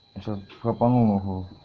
и че пропалол нахуй